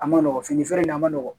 A ma nɔgɔn fini feere in ma nɔgɔn